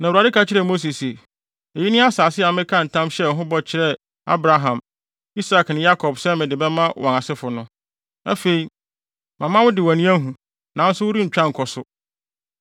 Na Awurade ka kyerɛɛ Mose se, “Eyi ne asase a mekaa ntam hyɛɛ ho bɔ kyerɛɛ Abraham, Isak ne Yakob se mede bɛma wɔn asefo no. Afei, mama wo de wʼani ahu, nanso worentwa nkɔ so.”